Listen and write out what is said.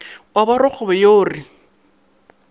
wa ba rakgwebo yo re